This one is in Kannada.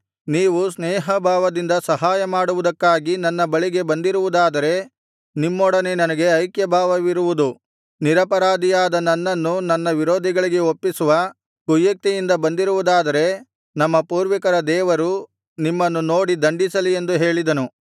ನೀವು ಸ್ನೇಹಭಾವದಿಂದ ಸಹಾಯ ಮಾಡುವುದಕ್ಕಾಗಿ ನನ್ನ ಬಳಿಗೆ ಬಂದಿರುವುದಾದರೆ ನಿಮ್ಮೊಡನೆ ನನಗೆ ಐಕ್ಯಭಾವವಿರುವುದು ನಿರಪರಾಧಿಯಾದ ನನ್ನನ್ನು ನನ್ನ ವಿರೋಧಿಗಳಿಗೆ ಒಪ್ಪಿಸುವ ಕುಯುಕ್ತಿಯಿಂದ ಬಂದಿರುವುದಾದರೆ ನಮ್ಮ ಪೂರ್ವಿಕರ ದೇವರು ನಿಮ್ಮನ್ನು ನೋಡಿ ದಂಡಿಸಲಿ ಎಂದು ಹೇಳಿದನು